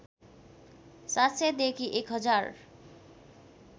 ७०० देखि १०००